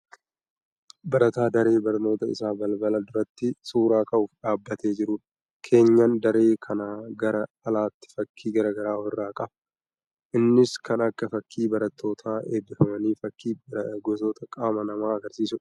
Barataa daree barnootaa isaa balabala duratti suuraa ka'uuf dhaabbatee jirudha. Keenyaan daree kanaa gara alaatiin fakkii garaagaraa of irraa qaba. Innis kan akka fakkii barattoota eebbifamaniifi fakkii gosoota qaama namaa agarsiisudha.